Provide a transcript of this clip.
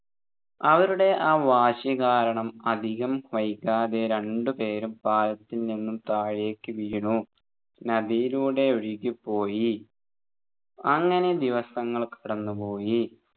അവരുടെ ആ വാശി കാരണം അധികം വൈകാതെ രണ്ടുപേരും പാലത്തിൽ നിന്നും താഴേക്ക് വീണു നദിയിലൂടെ ഒഴുകിപോയി അങ്ങനെ ദിവസങ്ങൾ കടന്നുപോയി